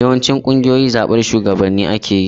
Yawancin ƙungiyoyi da zaɓar shugabanni ake yi.